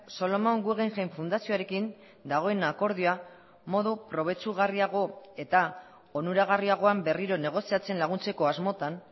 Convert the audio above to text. solomon guggenheim fundazioarekin dagoen akordioa modu probetxugarriago eta onuragarriagoan berriro negoziatzen laguntzeko asmotan